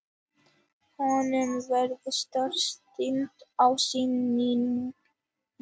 Honum varð starsýnt á Steinunni.